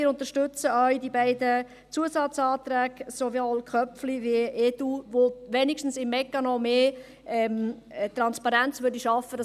Wir unterstütze auch die beiden Zusatzanträge, sowohl Köpfli als auch EDU, welche zumindest beim Mechanismus mehr Transparenz schaffen würden.